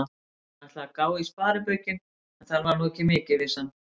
Hann ætlaði að gá í sparibaukinn, en þar var nú ekki mikið, vissi hann.